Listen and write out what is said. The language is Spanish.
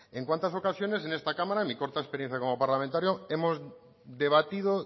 en cuántas ocasiones en esta cámara en mi corta experiencia como parlamentario hemos debatido